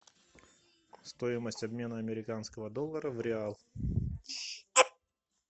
стоимость обмена американского доллара в реал